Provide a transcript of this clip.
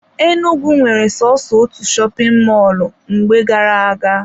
Enugwu nwere soso otu shopin mọlụ mgbe gara aga.